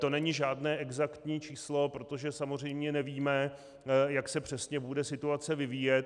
To není žádné exaktní číslo, protože samozřejmě nevíme, jak se přesně bude situace vyvíjet.